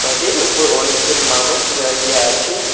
ওপর অনেকজন মানুষ দাঁড়িয়ে আছে।